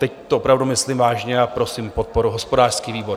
Teď to opravdu myslím vážně a prosím podporu hospodářský výbor.